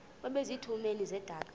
base zitulmeni zedaka